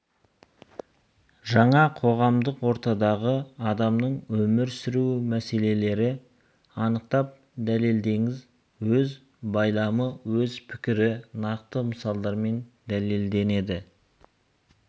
жаңа қоғамдық ортадағы адамның өмір сүруі мәселелерді анықтап дәлелдеңіз өз байламы өз пікірі нақты мысалдармен дәлелденеді